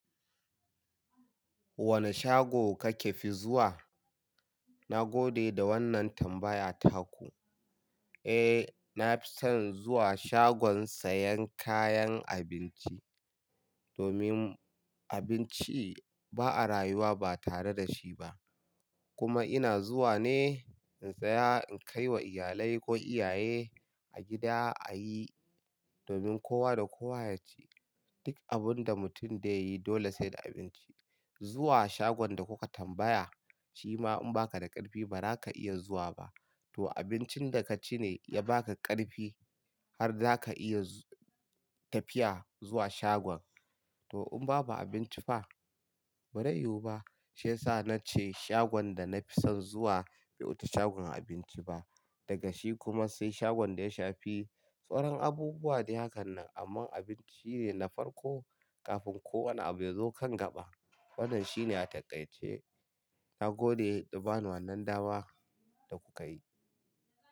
Wane shago kake fi zuwa? Na gode da wannan tambaya taku. Eh, na fi son zuwa shagon sayan kayan abinci. Domin abinci ba a rayuwa ba tare da shi ba. Kuma ina zuwa ne in saya in kai wa iyalai ko iyaye a gida a yi, domin kowa da kowa ya ci. Duk abin da mutum dai yi dole sai da abinci. Zuwa shagon da kuka tambaya, shi ma in baka da ƙarfi ba ra ka iya zuwa ba. To abincin da ka ci ne ya ba ka ƙarfi har zaka iya tafiya zuwa shagon. To in babu abinci fa? Ba rai yiwu ba. Shi yasa nace shagon da na fi son zuwa bai wuci shagon abinci ba. Daga shi kuma sai shagon da ya shafi sauran abubuwa dai hakan nan. Amma abinci shine na farko kafin kowane abu ya zo kan gaɓa. Wannan shine a taƙaice. Na gode da bani wannan dama da kuka yi.